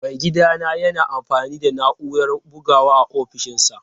Maigidana yana amfani da na'urar bugawa a ofishinsa.